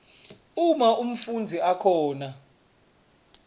uma umfundzi akhona